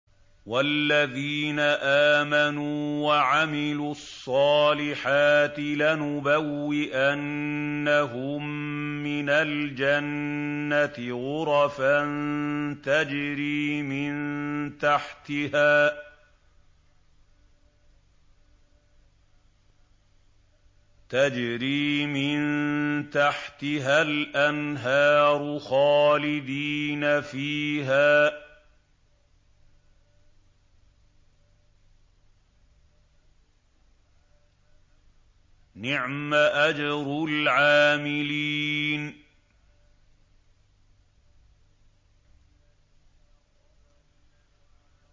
وَالَّذِينَ آمَنُوا وَعَمِلُوا الصَّالِحَاتِ لَنُبَوِّئَنَّهُم مِّنَ الْجَنَّةِ غُرَفًا تَجْرِي مِن تَحْتِهَا الْأَنْهَارُ خَالِدِينَ فِيهَا ۚ نِعْمَ أَجْرُ الْعَامِلِينَ